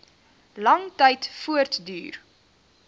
lang tyd voortduur